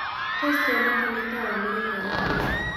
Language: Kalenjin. Tos' tyana tolaitap amerika eng' canada